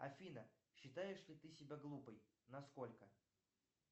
афина считаешь ли ты себя глупой насколько